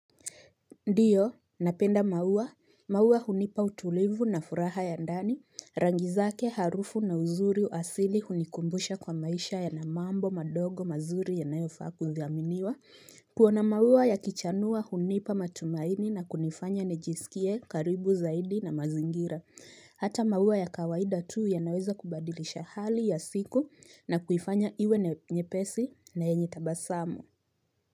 Ndio, napenda maua, maua hunipa utulivu na furaha ya ndani, rangizake harufu na uzuri uasili hunikumbusha kwa maisha yanamambo madogo mazuri yanayofaa kudhiaminiwa kuona maua ya kichanua hunipa matumaini na kunifanya nijisikie karibu zaidi na mazingira Hata maua ya kawaida tu ya naweza kubadilisha hali ya siku na kuifanya iwe nyepesi na yenye tabasamu.